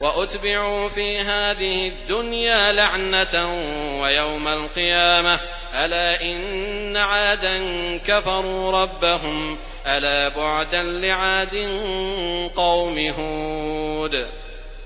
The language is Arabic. وَأُتْبِعُوا فِي هَٰذِهِ الدُّنْيَا لَعْنَةً وَيَوْمَ الْقِيَامَةِ ۗ أَلَا إِنَّ عَادًا كَفَرُوا رَبَّهُمْ ۗ أَلَا بُعْدًا لِّعَادٍ قَوْمِ هُودٍ